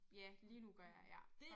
Ja lige nu gør jeg ja